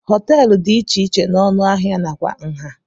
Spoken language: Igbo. Hoteelu dị iche iche na ọnụ ahịa na kwa nha.